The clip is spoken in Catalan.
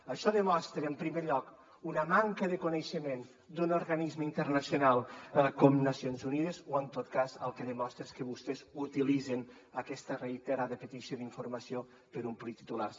això demostra en primer lloc una manca de coneixement d’un organisme internacional com nacions unides o en tot cas el que demostra és que vostès utilitzen aquesta reiterada petició d’informació per omplir titulars